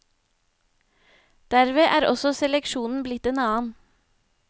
Derved er også seleksjonen blitt en annen.